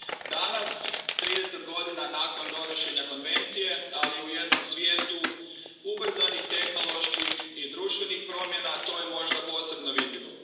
Danas, trideset godina nakon donošenja Konvencije, ali u jednom svijetu ubrzanih tehnoloških i društvenih promjena, to je možda posebno vidljivo.